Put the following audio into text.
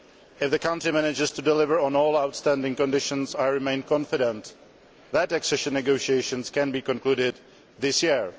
If the country manages to deliver on all outstanding conditions, I remain confident that accession negotiations can be concluded this year.